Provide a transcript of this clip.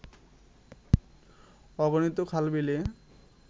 অগণিত খাল-বিলের